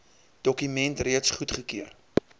dokument reeds goedgekeur